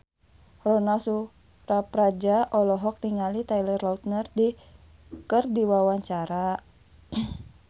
Ronal Surapradja olohok ningali Taylor Lautner keur diwawancara